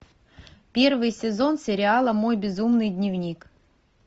первый сезон сериала мой безумный дневник